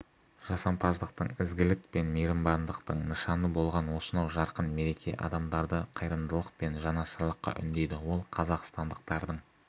жасампаздықтың ізгілік пен мейірбандықтың нышаны болған осынау жарқын мереке адамдарды қайырымдылық пен жанашырлыққа үндейді ол қазақстандықтардың